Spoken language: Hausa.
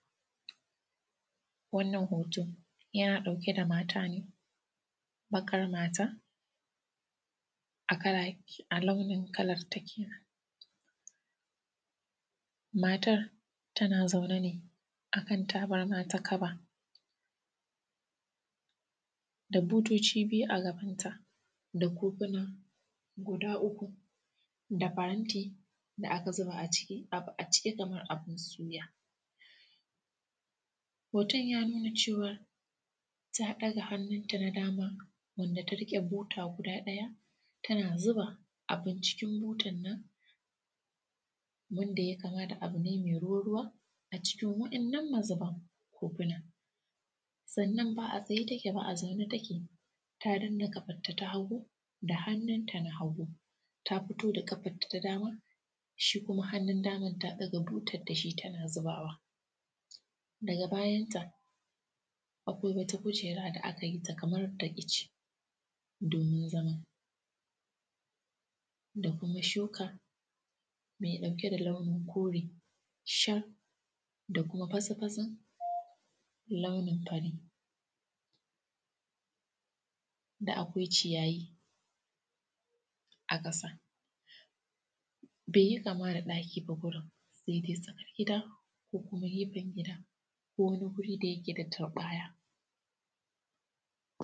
Wannan hoto yana ɗauke da mata ne baƙar mata a launin kalarta kenen, matar tana zaune ne akan tabarma ta kaba da butoci biyu agabanta da kufuna guda uku da faranti, da aka zuba a ciki kamar abun suya. Hoton ya nuna cewar ta ɗaga hannunta na dama wanda ta riƙe buta guda ɗaya tana zuba abun cikin butan nan, wanda ye kama da abu ne mai ruwa ruwa acikin wa’innan mazuban kofunan. Sannan ba a tsaye take ba a zaune take ta danne kafanta ta hagu da hannunta na hagu ta fito da ƙafarta ta dama shi kuma hannun daman ta ɗaga butan dashi tana zubawa daga bayanta akwai wata kujera da akayita kaman da ice, domin zama da kuma shuka mai ɗauke da launin kore shar da kuma fatsi fatsin launin fari, da akwai ciyayi a ƙasan, beyi kama da ɗaki ba gurin sai dai tsakar gida ko kuma gefen gida ko wani guri da yike da turɓaya.